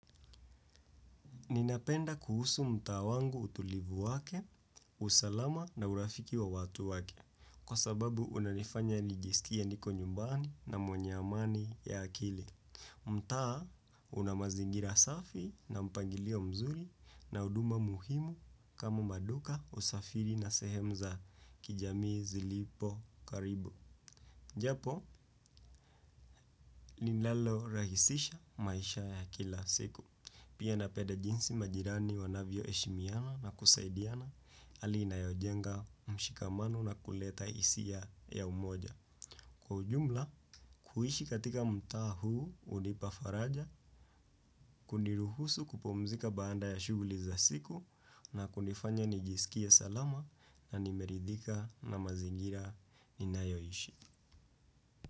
Ninapenda kuhusu mtaa wangu utulivu wake, usalama na urafiki wa watu wake, kwa sababu unanifanya nijisikie niko nyumbani na mwenye amani ya akili. Mtaa una mazingira safi na mpangilio mzuri na huduma muhimu kama maduka usafiri na sehemu za kijamii zilipo karibu. Japo linalo rahisisha maisha ya kila siku. Pia napenda jinsi majirani wanavyo heshimiana na kusaidiana hali inayojenga mshikamano na kuleta hisia ya umoja. Kwa ujumla, kuishi katika mtaa huu hunipa faraja, kuniruhusu kupumzika baada ya shughuli za siku na kunifanya nijisikie salama na nimeridhika na mazingira ninayoishi.